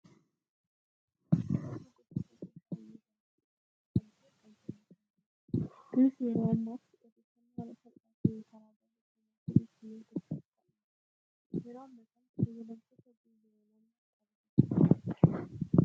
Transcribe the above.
Kunloogoo gosoota sooshaal miidiyaa keessaa tokko kan ta'e kan telegiraamiidha. Innis yeroo ammaatti odeeffannoo haala salphaa ta'een karaa barreeffamaatiin ittiin argachuuf kan ooludha. Yeroo ammaa kana fayyadamtoota biliyoonaan qaba jechuu dandeenya.